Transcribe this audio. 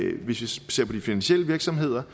vi ser på de finansielle virksomheder